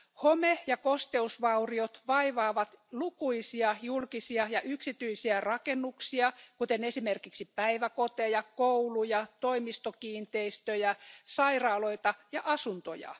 Home ja kosteusvauriot vaivaavat lukuisia julkisia ja yksityisiä rakennuksia, kuten esimerkiksi päiväkoteja, kouluja, toimistokiinteistöjä, sairaaloita ja asuntoja.